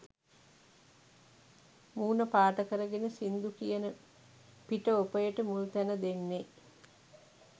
මූණ පාට කරගෙන සින්දු කියන පිට ඔපයට මුල්තැන දෙන්නේ.